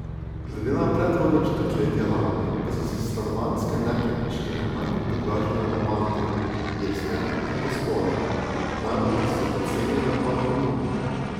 Glede na predhodno četrtletje lani pa so se stanovanjske nepremičnine najbolj podražile na Malti, Irskem ter v Estoniji, najbolj pa so se pocenile pa v Romuniji.